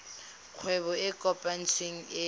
kgwebo e e kopetsweng e